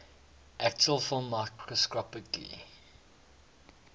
actual film microscopically